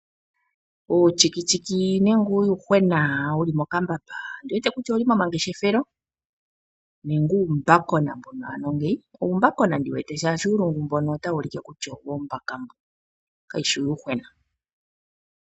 Uuyuhwena wu li mokambamba ondi wete kutya ou li momangeshefelo. Nenge uumbakona ano ngeyi? Uumbakona ndi wete, oshoka uulungu otawu ulike kutya owoombaka kawu shi uuyuhwena.